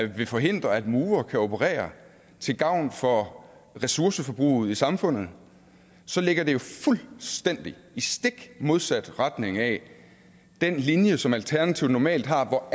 vil forhindre at murere kan operere til gavn for ressourceforbruget i samfundet så ligger det jo fuldstændig i stik modsat retning af den linje som alternativet normalt har hvor